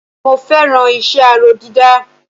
Mo fẹ́ràn iṣẹ́ aró dídá